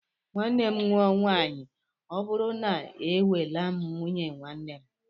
Nwanne m nụọ nwaanyị ọ bụrụ na e nweelam nwunye nwanne